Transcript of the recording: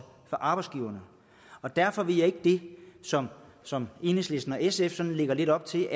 for arbejdsgiverne derfor vil jeg ikke det som som enhedslisten og sf lægger lidt op til